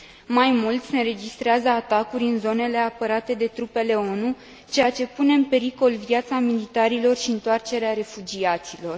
Mai mult, se înregistrează atacuri în zonele apărate de trupele ONU, ceea ce pune în pericol viața militarilor și întoarcerea refugiaților.